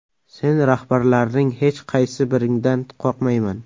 Sen rahbarlarning hech qaysi biringdan qo‘rqmayman!